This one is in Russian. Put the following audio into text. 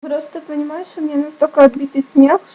просто понимаешь у меня настолько отбитый смех